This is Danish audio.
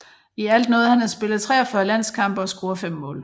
I alt nåede han at spille 43 landskampe og score fem mål